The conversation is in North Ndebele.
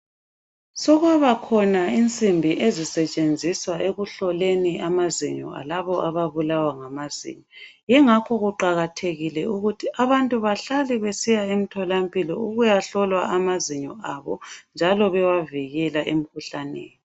Sekwabakhona insimbi ezisetshenziswa ekuhloleni amazinyo alabo ababulawa ngamazinyo, yingakho kuqakathekile ukuthi abantu bahlale besiya emtholampilo ukuya hlolwa amazinyo abo njalo bewavikela emkhuhlaneni.